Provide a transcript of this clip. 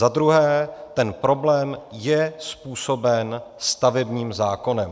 Za druhé, ten problém je způsoben stavebním zákonem.